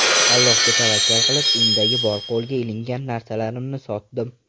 Allohga tavakkal qilib, uyimdagi bor qo‘lga ilingan narsalarimni sotdim.